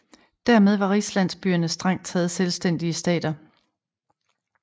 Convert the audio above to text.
Dermed var rigslandsbyerne strengt taget selvstændige stater